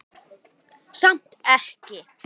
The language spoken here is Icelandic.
Samt ekki.